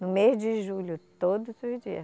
No mês de julho, todos os dias